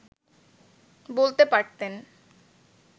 বলতে পারতেন